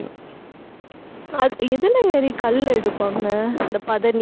அ~ எதுல ஏறி கள் எடுப்பாங்க அந்த பதநீர்